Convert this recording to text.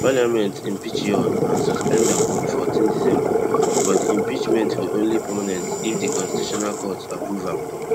parliament impeach yoon and suspend am on fourteen december but di impeachment go only permanent if di constitutional court approve am